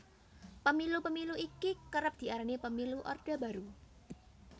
Pemilu Pemilu iki kerep diarani Pemilu Orde Baru